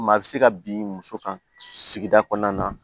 Maa bɛ se ka bin muso kan sigida kɔnɔna na